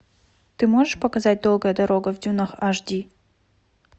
ты можешь показать долгая дорога в дюнах аш ди